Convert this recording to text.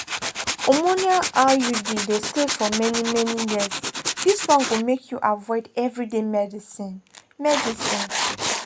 hormonal iud dey stay for many-many years this one go make you avoid everyday medicines. medicines.